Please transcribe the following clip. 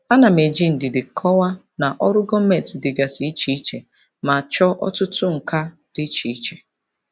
Ana m eji ndidi kọwaa na ọrụ gọọmentị dịgasị iche iche ma chọọ ọtụtụ nka dị iche iche.